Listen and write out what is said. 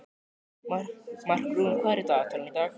Markrún, hvað er í dagatalinu í dag?